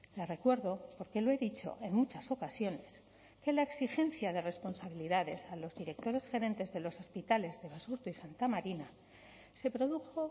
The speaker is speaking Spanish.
le recuerdo porque lo he dicho en muchas ocasiones que la exigencia de responsabilidades a los directores gerentes de los hospitales de basurto y santa marina se produjo